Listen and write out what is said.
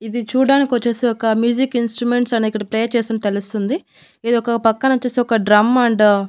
ఇది చూడ్డానికొచ్చేసి ఒక మ్యూజిక్ ఇన్స్ట్రుమెంట్స్ అనిక్కడ ప్లే చేసినట్టు తెలుస్తుంది. ఇది ఒక పక్కన వచేసి ఒక డ్రమ్ అండ్ --